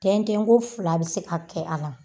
Tin tin ko fila be se ka kɛ a la.